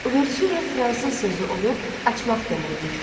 Uvertüra fransız sözü olub açmaq deməkdir.